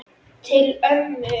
Til ömmu.